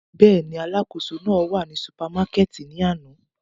Bẹ́ẹ̀ni, oluṣakoso náà wa ni supamakẹti ni ana.